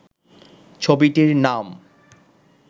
ছবিটির নাম